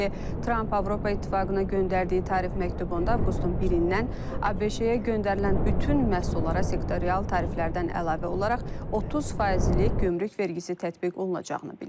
Xatırladaq ki, Tramp Avropa İttifaqına göndərdiyi tarif məktubunda avqustun birindən ABŞ-yə göndərilən bütün məhsullara sektorial tariflərdən əlavə olaraq 30 faizlik gömrük vergisi tətbiq olunacağını bildirib.